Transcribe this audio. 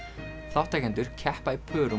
þátttakendur keppa í pörum